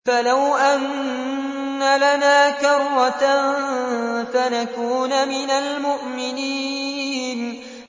فَلَوْ أَنَّ لَنَا كَرَّةً فَنَكُونَ مِنَ الْمُؤْمِنِينَ